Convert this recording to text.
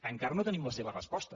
encara no tenim la seva resposta